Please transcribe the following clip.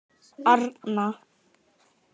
Arna